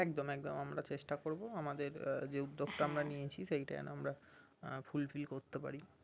একদম একদম আমরা চেষ্টা করবো আমাদের আহ যে উদ্যোগটা আমরা নিয়েছি সেটা যেন আমরা আহ fulfil করতে পারি